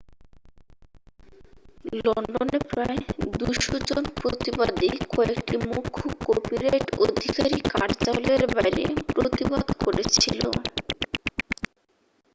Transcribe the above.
লন্ডনে প্রায় 200 জন প্রতিবাদী কয়েকটি মুখ্য কপিরাইট অধিকারী কার্যালয়ের বাইরে প্রতিবাদ করেছিল